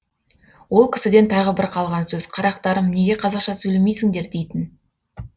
ол кісіден тағы бір қалған сөз қарақтарым неге қазақша сөйлемейсіңдер дейтін